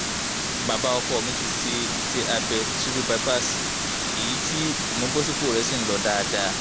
bàbá ọkọ mi ti ṣe ise abe triple bypass eyi ti imubosipo re n lo dáadáa